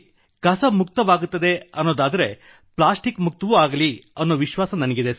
ಕಸ ಮುಕ್ತವಾಗುತ್ತದೆ ಎಂದಾದರೆ ಪ್ಲಾಸ್ಟಿಕ್ ಮುಕ್ತವೂ ಆಗಲಿದೆ ಎಂಬ ವಿಶ್ವಾಸ ನನಗಿದೆ